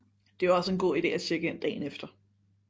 Det er også en god ide at tjekke ind dagen efter